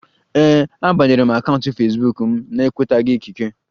Ee, a banyere akaụntụ Fesbuk m na-enwetaghi ikike